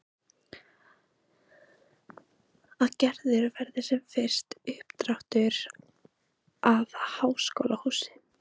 Að gerður verði sem fyrst uppdráttur að háskólahúsi.